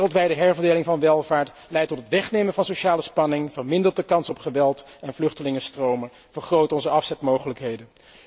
Wereldwijde herverdeling van welvaart leidt tot het afnemen van sociale spanningen, vermindert de kans op geweld en vluchtelingenstromen, vergroot onze afzetmogelijkheden.